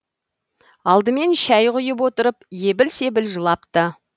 алдымен шәй құйып отырып ебіл себіл жылапты